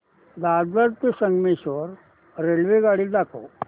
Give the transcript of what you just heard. दादर ते संगमेश्वर रेल्वेगाडी दाखव